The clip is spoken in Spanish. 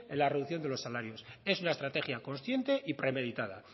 la reducción de los salarios es una estrategia consciente y premeditada